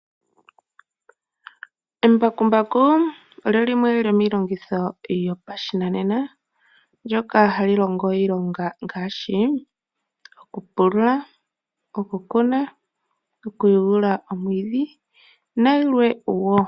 Embakumbaku olyo lyimwe lyomiilongitho yo pashinanena ndoka hali longo iilonga ngaashi: okupulula, okukuna, okuyungula omwiidhi na yilwe wo.